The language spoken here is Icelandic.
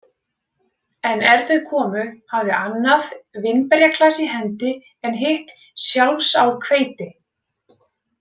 En er þau komu, hafði annað vínberjaklasa í hendi en hitt sjálfsáð hveiti.